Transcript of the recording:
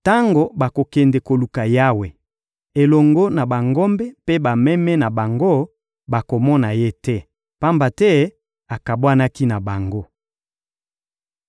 Tango bakokende koluka Yawe, elongo na bangombe mpe bameme na bango, bakomona Ye te, pamba te akabwanaki na bango.